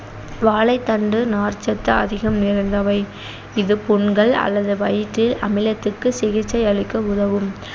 வாழைத்தண்டு நார்ச்சத்து அதிகம் நிறைந்தவை இது புண்கள் அல்லது வயிற்றில் அமிலத்துக்கு சிகிச்சையளிக்க உதவும்